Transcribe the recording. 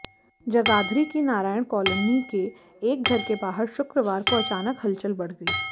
जगाधरी की नारायण कालोनी के एक घर के बाहर शुक्रवार को अचानक हलचल बढ़ गई